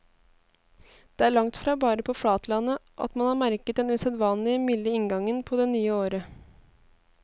Det er langtfra bare på flatlandet at man har merket den usedvanlig milde inngangen på det nye året.